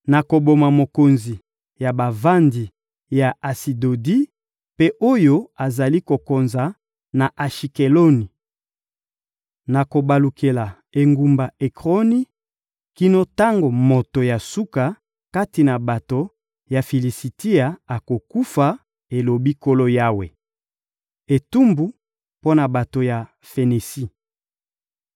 Nakoboma mokonzi ya bavandi ya Asidodi mpe oyo azali kokonza na Ashikeloni. Nakobalukela engumba Ekroni kino tango moto ya suka kati na bato ya Filisitia akokufa,» elobi Nkolo Yawe. Etumbu mpo na bato ya Fenisi